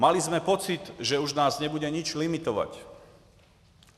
Měli jsme pocit, že už nás nebude nic limitovat.